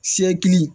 Sekili